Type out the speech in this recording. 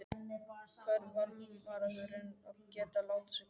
Hvað á varnarmaðurinn að gera láta sig hverfa?